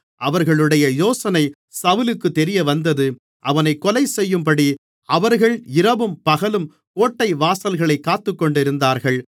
அவர்களுடைய யோசனை சவுலுக்குத் தெரியவந்தது அவனைக் கொலைசெய்யும்படி அவர்கள் இரவும் பகலும் கோட்டைவாசல்களைக் காத்துக்கொண்டிருந்தார்கள்